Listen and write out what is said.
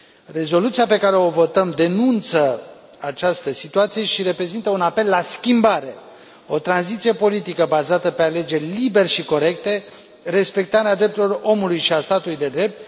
Rezoluția pe care o votăm denunță această situație și reprezintă un apel la schimbare, o tranziție politică bazată pe alegeri libere și corecte, respectarea drepturilor omului și a statului de drept.